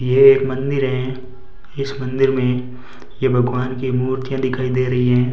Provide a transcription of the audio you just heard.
ये एक मंदिर है इस मंदिर मे ये भगवान की मूर्तियां दिखाई दे रही है।